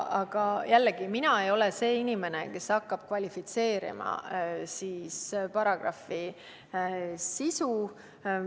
Aga jällegi, mina ei ole see inimene, kes hakkab kvalifitseerima paragrahvi sisu.